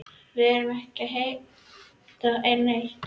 Við erum ekki að heimta neitt.